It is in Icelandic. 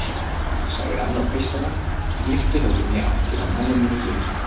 sagði annar piltanna og hnykkti höfðinu í áttina að manninum í glugganum.